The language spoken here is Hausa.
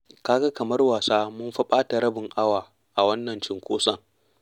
Ka ga kamar wasa mun fa ɓata rabin awa a wannan cunkoson.